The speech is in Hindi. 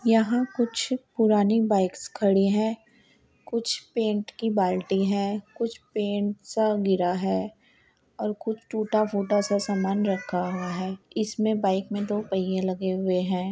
यहाँ कुछ पुरानी बाइक्स खड़ी है| कुछ पेंट की बाल्टी है| कुछ पेंट सा गिरा है और कुछ टूटा फूटा सा सामान रख्खा हुआ है इसमे बाइक मे दो पहियें लगे हुए है।